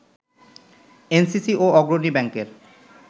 NCC ও অগ্রণী ব্যাংকের